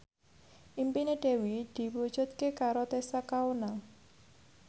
impine Dewi diwujudke karo Tessa Kaunang